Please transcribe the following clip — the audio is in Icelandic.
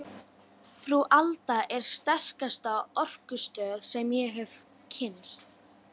Frú Alda er sterkasta orkustöð sem ég hef kynnst.